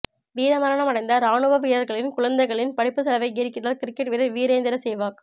வீரமரணமடைந்த ராணுவ வீரர்களின் குழந்தைகளின் படிப்பு செலவை ஏற்கிறார் கிரிக்கெட் வீரர் வீரேந்திர சேவாக்